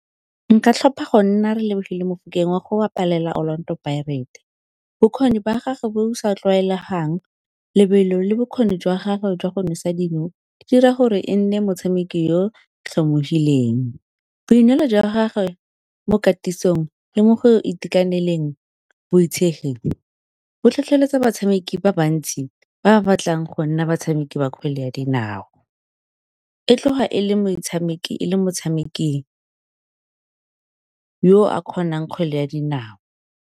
Nka tlhopha go nna Relebogile Mofokeng wa go wa go bapalela Orlando Pirates. Bokgoni ba gage bo bo sa tlwaelegang, lebelo le bokgoni jwa gagwe jwa go nosa dino, di dira gore e nne motshameki yo tlhomologileng. Boineelo jwa gagwe mo katisong le mo go itekaneleng boitshegi, bo tlhotlheletsa batshameki ba bantsi ba ba batlang go nna batshameki ba kgwele ya dinao. E tloga e le motshameki yo a kgonang kgwele ya dinao.